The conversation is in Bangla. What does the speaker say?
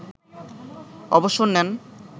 অবসর নেন